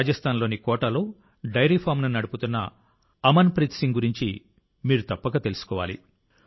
రాజస్థాన్లోని కోటాలో డైరీ ఫామ్ను నడుపుతున్న అమన్ప్రీత్ సింగ్ గురించి కూడా మీరు తప్పక తెలుసుకోవాలి